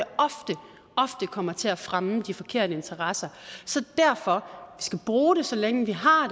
ofte kommer til at fremme de forkerte interesser så derfor skal vi bruge det så længe vi har